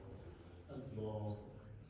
Allah.